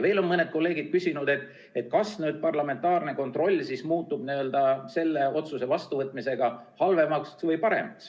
Veel on mõned kolleegid küsinud, kas parlamentaarne kontroll muutub nüüd selle otsuse vastuvõtmisega halvemaks või paremaks.